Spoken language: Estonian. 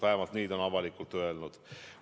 Vähemalt nii on ta avalikult öelnud.